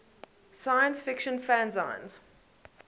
science fiction fanzines